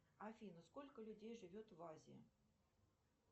афина сколько людей живет в азии